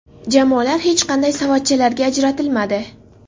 Jamoalar hech qanday savatchalarga ajratilmadi.